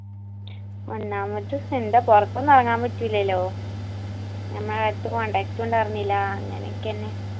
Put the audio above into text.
ഒന്നാമത് എന്താ പൊറത്തൊന്നും എറങ്ങാൻ പറ്റൂലെലോ നമ്മൾ ആരേത്തും contact ഉ ഉണ്ടാർന്നില്ല അങ്ങനെ ഒക്കെന്നെ